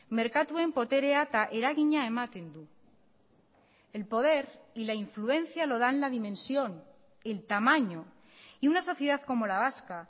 merkatuen boterea eta eragina ematen du el poder y la influencia lo dan la dimensión el tamaño y una sociedad como la vasca